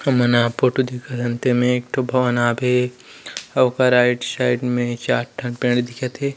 हमन ह फोटु देखत हन ते में एक ठो भवन हावे ओकर आइड साइड में चार ठो पेड़ दिखत हे।